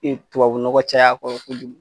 Ee tubabu nɔgɔ caya a kɔrɔ kojugu